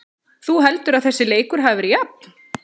Þú heldur að þessi leikur hafi verið jafn?